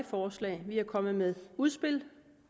forslag vi er kommet med udspil